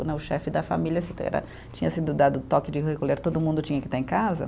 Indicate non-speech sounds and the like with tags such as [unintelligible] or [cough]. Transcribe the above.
Né o chefe da família [unintelligible] tinha sido dado o toque de recolher, todo mundo tinha que estar em casa.